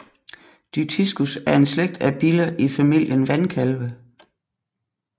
Dytiscus er en slægt af biller i familien vandkalve